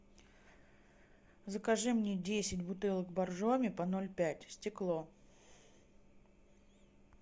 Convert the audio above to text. закажи мне десять бутылок баржоми по ноль пять стекло